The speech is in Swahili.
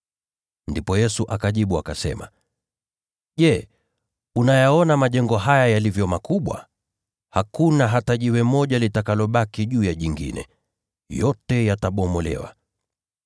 Ndipo Yesu akajibu akasema, “Je, unayaona majengo haya yalivyo makubwa? Hakuna hata jiwe moja litakalobaki juu ya jingine, bali yote yatabomolewa.”